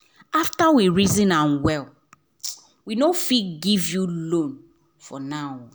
after we reason am well we no fit give you loan for now.